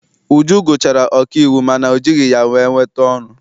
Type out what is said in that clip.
Uju gụchara ọkaiwu mana ọ jighị ya wee nweta ọrụ.